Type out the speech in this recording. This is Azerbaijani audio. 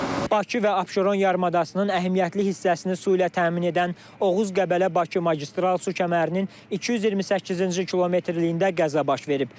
Bakı və Abşeron yarımadasının əhəmiyyətli hissəsini su ilə təmin edən Oğuz Qəbələ Bakı magistral su kəmərinin 228-ci kilometrliyində qəza baş verib.